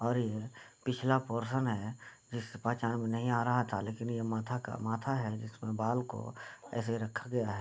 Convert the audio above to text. और ये पिछला पोरशन है जिससे पहचान में नहीं आ रहा था लेकिन ये माथा का माथा है जिसमें बाल को ऐसे रखा गया है।